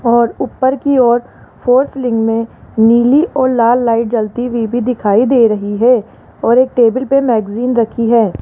और ऊपर की ओर फोर सीलिंग में नीली और लाल लाइट जलती हुई भी दिखाई दे रही है और एक टेबल पे मैगज़ीन रखी है।